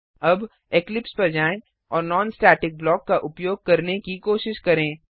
अब इक्लिप्स पर जाएँ और नॉन स्टेटिक ब्लॉक का उपयोग करने की कोशिश करें